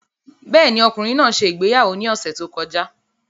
Bẹ́ẹ̀ ni, ọkùnrin náà ṣe ìgbéyàwó ní ọ̀sẹ̀ tó kọjá.